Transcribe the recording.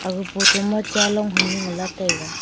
aga photo ma cha long taiga.